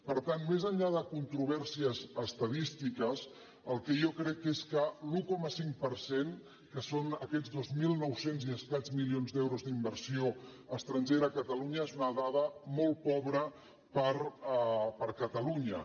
per tant més enllà de controvèrsies estadístiques el que jo crec és que l’un coma cinc per cent que són aquests dos mil nou cents i escaig milions d’euros d’inversió estrangera a catalunya és una dada molt pobra per a catalunya